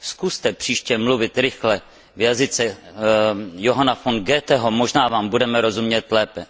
Zkuste příště mluvit rychle v jazyce Johanna von Goetheho, možná Vám budeme rozumět lépe.